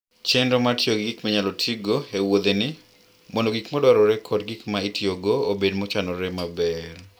Chenro mar tiyo gi gik minyalo tigo e wuodheni mondo gik ma dwarore kod gik ma itiyogo obed mochanore maber.